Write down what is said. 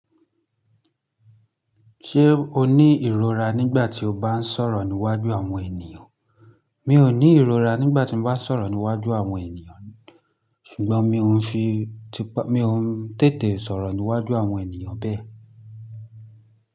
Ṣé o ní ìrora nígbà tí o bá ń sọ̀rọ̀ níwájú àwọn ènìyàn? Mi ò ní ìrora nígbà tí mo bá ń sọ̀rọ̀ níwájú àwọn ènìyàn, ṣùgbọ́n mi o ń fi tipá, mi ò ń tètè sọ̀rọ̀ níwájú àwọn ènìyàn bẹ́ẹ̀.